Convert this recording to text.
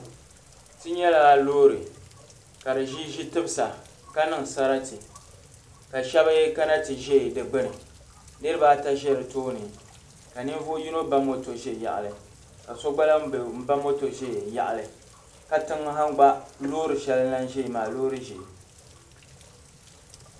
Ti nyala loori ka di ʒi ʒi' timsa ka niŋ sarati ka shɛba kana nti za di gbini. Niriba ata za di tooni ka ninvuɣ' yino ba moto za yaɣili ka so gba lahi ba moto za yaɣili. Katiŋa ha gba loori shɛli lahi zaya maa. Loori ʒee.